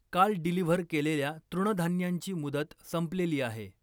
काल डिलिव्हर केलेल्या तृणधान्यांची मुदत संपलेली आहे.